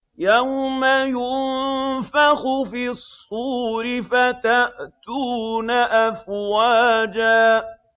يَوْمَ يُنفَخُ فِي الصُّورِ فَتَأْتُونَ أَفْوَاجًا